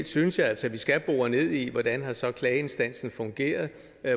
synes altså at vi skal bore ned i hvordan klageinstansen fungeret